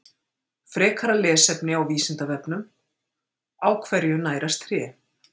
Frekara lesefni á Vísindavefnum: Á hverju nærast tré?